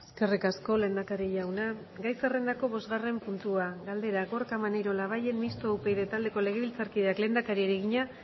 eskerrik asko lehendakari jauna gai zerrendako bosgarren puntua galdera gorka maneiro labayen mistoa upyd taldeko legebiltzarkideak lehendakariari egina